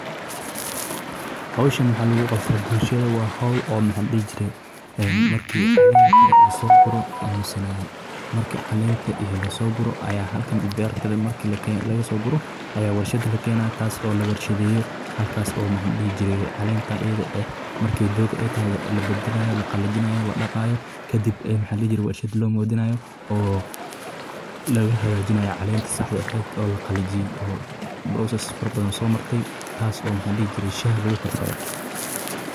hawshan maxaa lagu qabtaa bulshada waa howl oo maxa la dihi jiray markii aan soo furo aaminsanaa markii caleenta iyo lasoo guro ayaa halkan is beer ta markii laga soo guro ayaa warshada la keenaa taas oo la warshadeeyo halkaas oo maxa la dhihi jiray caleenta eedha eh markii aay dogaa taho ee la badalayo ee oo la qalajinayo, la daqaayo kadib warshad loo modinayo oo laga hagajiyo caleenta saaxda ehed ee laqalajiye oo process farabadan soo martay taas oo maxali jiray shaah lagu garsado.